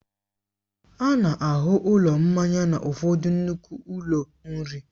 A na-ahụ ụlọ mmanya n'ụfọdụ nnukwu ụlọ nri.